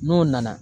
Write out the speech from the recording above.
N'o nana